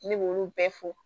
Ne b'olu bɛɛ fɔ